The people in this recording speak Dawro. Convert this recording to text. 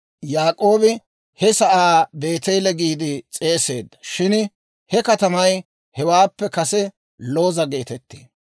Yaak'oobi he sa'aa Beeteele giide s'eeseedda. Shin he katamay hewaappe kase Looza geetettee.